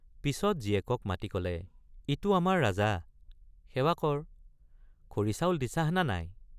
পিচত জীয়েকক মাতি কলে ইটো আমাৰ ৰাজা সেৱা কৰ খৰি চাউল দিছাহ না নাই?